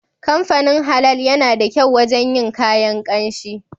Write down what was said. Kamfanin Halal yana da kyau wajen yin kayan kanshi